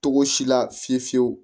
Togo si la fiye fiyewu